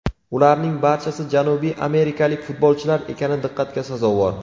Ularning barchasi janubiy amerikalik futbolchilar ekani diqqatga sazovor.